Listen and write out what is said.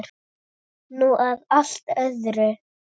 Nú að allt öðru.